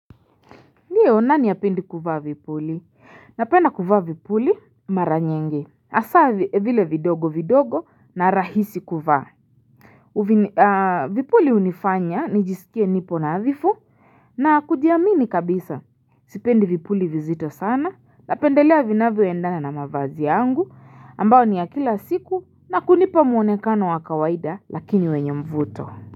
Ndiyo nani hapendi kuvaa vipuli? Napenda kuvaa vipuli maranyingi. Asa vile vidogo vidogo na rahisi kuvaa. Vipuli unifanya nijisikie nipo na adhifu na kujiamini kabisa. Sipendi vipuli vizito sana na pendelea vinavyo endana na mavazi yangu ambao ni ya kila siku na kunipa muonekano wakawaida lakini wenye mvuto.